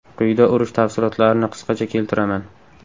Quyida urush tafsilotlarini qisqacha keltiraman.